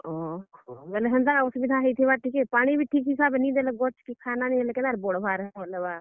ଓ ହୋ, ବେଲେ ହେନ୍ତା ଅସୁବିଧା ହେଇଥିବା ଟିକେ, ପାଣି ବି ଠିକ୍ ହିସାବେ ନି ଦେଲେ, ଗଛ କେ ଖାନା ନି ହେଲେ, କେନ୍ତା କରି ବଡ ହେବା ଆର୍ ଫଲ୍ ହେବା।